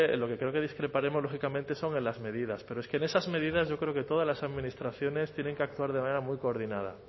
lo que creo que discreparemos lógicamente son en las medidas pero es que en esas medidas yo creo que todas las administraciones tienen que actuar de manera muy coordinada